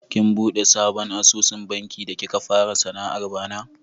Kin buɗe sabon asusun banki da kika fara sana'ar bana?